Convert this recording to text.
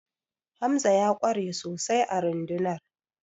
Hamza ya ƙware sosai a rundunar